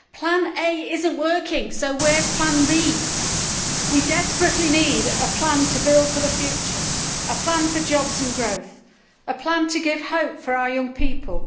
Plan A is not working so where is Plan B? We desperately need a plan to build for the future, a plan for jobs and growth and a plan to give hope for our young people.